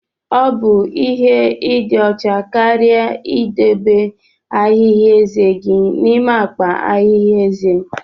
Ọ bụ ihe ịdị ọcha karịa ịdobe ahihia ezé gị n'ime akpa ahịhịa ezé.